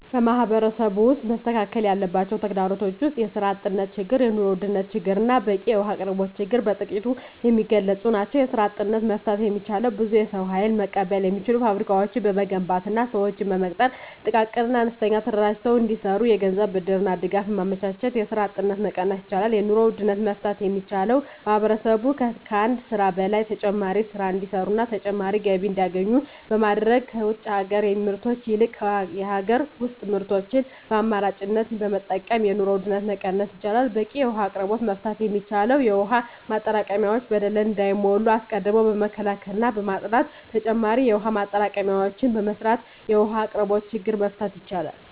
በማህበረሰቡ ውስጥ መስተካከል ያለባቸው ተግዳሮቶች ውስጥ የስራ አጥነት ችግር የኑሮ ውድነት ችግርና በቂ የውሀ አቅርቦት ችግር በጥቂቱ የሚገለፁ ናቸው። የስራ አጥነትን መፍታት የሚቻለው ብዙ የሰው ሀይል መቀበል የሚችሉ ፋብሪካዎችን በመገንባትና ስዎችን በመቅጠር ጥቃቅንና አነስተኛ ተደራጅተው እንዲሰሩ የገንዘብ ብድርና ድጋፍ በማመቻቸት የስራ አጥነትን መቀነስ ይቻላል። የኑሮ ውድነትን መፍታት የሚቻለው ማህበረሰቡ ከአንድ ስራ በላይ ተጨማሪ ስራ እንዲሰሩና ተጨማሪ ገቢ እንዲያገኙ በማድረግ ከውጭ ሀገር ምርቶች ይልቅ የሀገር ውስጥ ምርቶችን በአማራጭነት በመጠቀም የኑሮ ውድነትን መቀነስ ይቻላል። በቂ የውሀ አቅርቦትን መፍታት የሚቻለው የውሀ ማጠራቀሚያዎች በደለል እንዳይሞሉ አስቀድሞ በመከላከልና በማፅዳት ተጨማሪ የውሀ ማጠራቀሚያዎችን በመስራት የውሀ አቅርቦትን ችግር መፍታት ይቻላል።